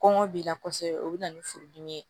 Kɔngɔ b'i la kosɛbɛ o bɛ na ni furudimi ye